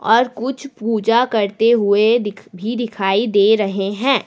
और कुछ पूजा करते हुए दिख भी दिखाई दे रहे हैं।